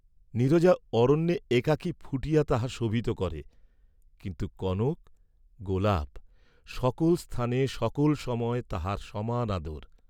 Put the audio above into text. নীরজা অরণ্যে একাকী ফুটিয়া তাহা শোভিত করে, কিন্তু কনক গােলাপ, সকল স্থানে সকল সময় তাহার সমান আদর।